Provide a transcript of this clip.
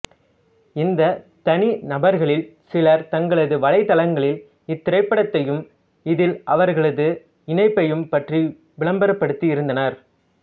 இந்த தனி நபர்களில் சிலர் தங்களது வலைத்தளங்களில் இத்திரைப்படத்தையும் இதில் அவர்களது இணைப்பையும் பற்றி விளம்பரப்படுத்தி இருந்தனர்